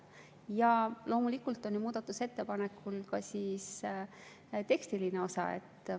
Ja loomulikult on muudatusettepanekul ka tekstiline osa.